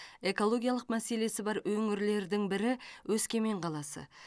экологиялық мәселесі бар өңірлердің бірі өскемен қаласы